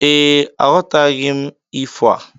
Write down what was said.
Ee, aghọtaghi m ifo a.